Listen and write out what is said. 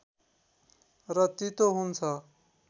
र तीतो हुन्छ